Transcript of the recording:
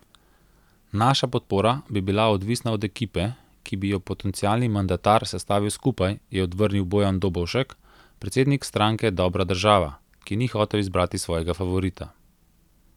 Naša podpora bi bila odvisna od ekipe, ki bi jo potencialni mandatar sestavil skupaj, je odvrnil Bojan Dobovšek, predsednik stranke Dobra Država, ki ni hotel izbrati svojega favorita.